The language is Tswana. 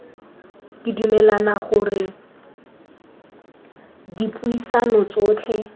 ke dumela gore dipuisano tsotlhe